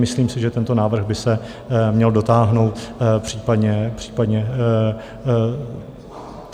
Myslím si, že tento návrh by se měl dotáhnout, případně ho zcela upravit.